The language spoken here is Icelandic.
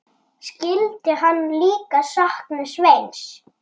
Skyldi hann líka sakna Sveins?